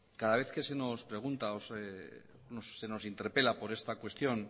cada vez que se nos pregunta o se nos interpela por esta cuestión